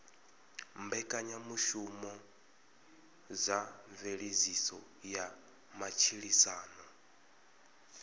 mbekanyamushumo dza mveledziso ya matshilisano